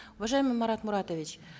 уважаемый марат муратович